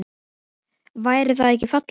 Væri það ekki fallegt?